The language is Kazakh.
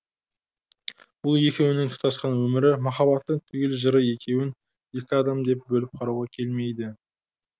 бұл екеуінің тұтасқан өмірі махаббаттың түгел жыры екеуін екі адам деп бөліп қарауға келмейді